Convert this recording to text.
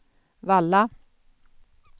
Valla